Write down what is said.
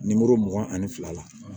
mugan ani fila la